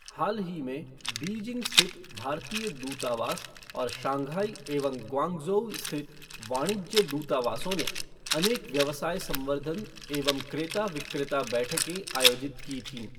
हाल ही में बीजिंग स्थित भारतीय दूतावास और शंघाई एवं ग्वांगझोऊ स्थित वाणिज्य दूतावासों ने अनेक व्यवसाय संवर्धन एवं क्रेता विक्रेता बैठकें आयोजित की थीं।